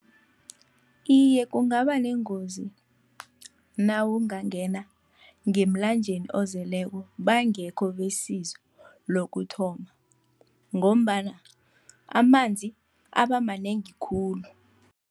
Iye, kungaba nengozi nawungangena ngemlanjeni ozeleko bangekho besizo lokuthoma, ngombana amanzi aba manengi khulu.